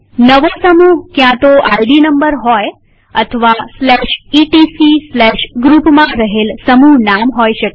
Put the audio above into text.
નવું ગ્રુપ ક્યાંતો ID number હોય અથવા etcgroupમાં રહેલ સમૂહનામ હોઈ શકે